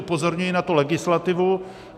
Upozorňuji na to legislativu.